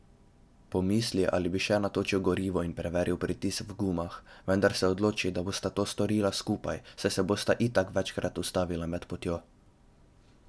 Pomisli, ali bi še natočil gorivo in preveril pritisk v gumah, vendar se odloči, da bosta to storila skupaj, saj se bosta itak večkrat ustavila med potjo.